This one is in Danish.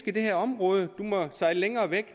i det her område du må sejle længere væk